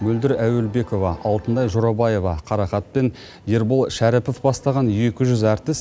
мөлдір әуелбекова алтынай жорабаева қарақат пен ербол шәріпов бастаған екі жүз әртіс